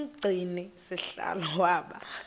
umgcini sihlalo waba